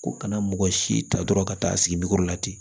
Ko kana mɔgɔ si ta dɔrɔn ka taa sigi la ten